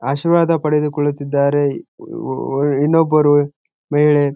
ಆಶೀರ್ವಾದ ಪಡೆದುಕೊಳ್ಳುತಿದ್ದರೆ ಈ ಇನ್ನೊಬ್ಬರು ಮಹಿಳೆ--